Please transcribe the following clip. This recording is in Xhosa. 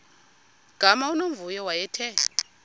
gama unomvuyo wayethe